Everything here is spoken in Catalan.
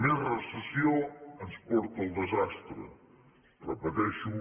més recessió ens porta al desastre ho repeteixo